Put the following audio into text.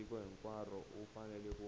tiko hinkwaro u fanele ku